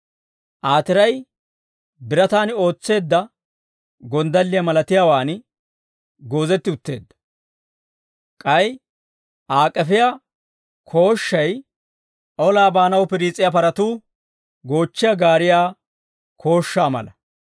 Aa tiray birataan ootseedda gonddalliyaa malatiyaawaan goozetti utteedda; k'ay Aa k'efiyaa kooshshay olaa baanaw piriis'iyaa paratuu goochchiyaa gaariyaa kooshshaa mala.